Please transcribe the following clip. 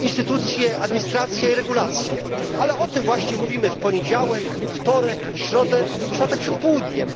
instytucje, administracje i regulacje, ale o nich właśnie mówimy w poniedziałek, wtorek, środę i czwartek przed południem.